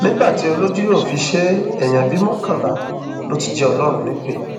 nígbà tí olójú yóò fi ṣe é èèyàn bíi mọkànlá ló ti jẹ ọlọrun nípẹ